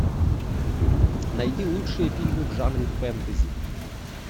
найди лучшие фильмы в жанре фэнтези